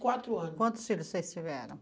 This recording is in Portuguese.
quatro anos. Quantos filhos vocês tiveram?